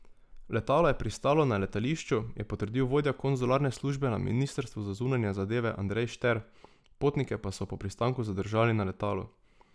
Letalo je pristalo na letališču, je potrdil vodja konzularne službe na ministrstvu za zunanje zadeve Andrej Šter, potnike pa so po pristanku zadržali na letalu.